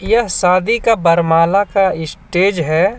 यह शादी का बरमला का स्टेज हे.